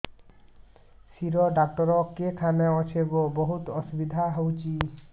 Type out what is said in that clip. ଶିର doctor କେଖାନେ ଅଛେ ଗୋ ବହୁତ୍ ଅସୁବିଧା ହଉଚି